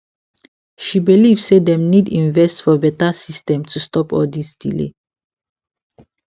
she believe say dem need invest for better system to stop all this delay